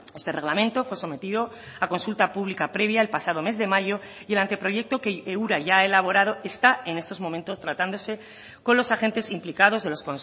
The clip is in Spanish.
este reglamento fue sometido a consulta pública previa el pasado mes de mayo y el anteproyecto que ura ya ha elaborado está en estos momentos tratándose con los agentes implicados de los